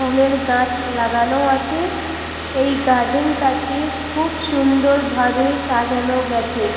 ফুলের গাছ লাগানো আছে । এই গার্ডেন টাকে বা খুব সুন্দর ভাবে সাজানো গেছে ।